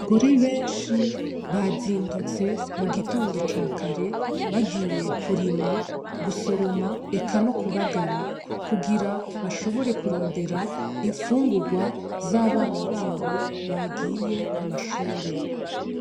Abagore benshi bazindutse mu gitondo ca kare bagiye kurima , gusoroma, eka no kubagara kugira bashobore kurondera infungurwa z’abana babo bagiye ku mashure.